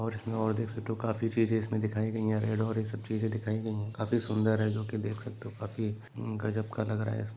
और की और देख सकते हो काफी चीज़ें इसमें दिखाए गयी है रेड और ये सब चीज़ें दिखाए गयी है काफी सूंदर है जो के देख सकते हो काफी अम्म गजब का लग रहा हैं। इस --